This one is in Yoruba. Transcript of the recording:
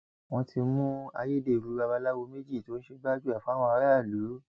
wọn ti mú ayédèrú babaláwo méjì tó ń ṣe gbájúẹ fáwọn aráàlú